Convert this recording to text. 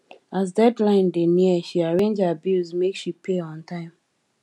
as deadline dey near she arrange her bills make she pay on time